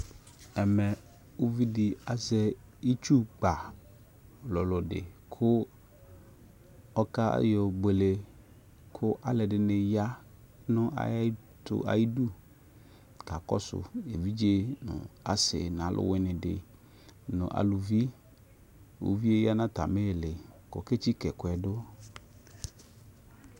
Ɛmɛ, uvidi azɛ itsukpa lʋlʋ di kʋ ɔkayɔbuele kʋ alʋɛdini ya nʋ ayɛɛtʋ, ayidʋ kakɔsʋ evidze nʋ asi n'aluwini di nʋ alʋvi Uvie yɛ ya nʋ atami 'li kʋ oketsika nʋ ɛkʋɛ du